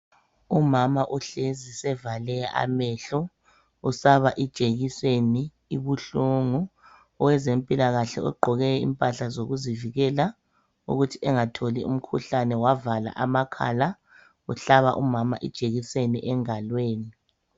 Umama uhlezi sevale amehlo usaba ijekiseni ibuhlungu, owezempilakahke ogqoke impahla zokuzivikela ukuthi engatholi umkhuhlane wavala amakhala uhlaba umama ijekiseni engalweni.